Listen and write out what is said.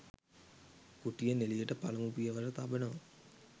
කුටියෙන් එළියට පළමු පියවර තබනවා